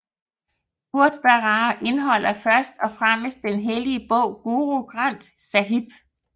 Gurdwaraer indeholder først og fremmest den hellige bog Guru Granth Sáhib